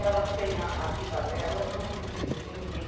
Elas têm a vida delas, não preciso de ninguém.